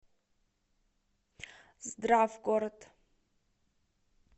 здравгород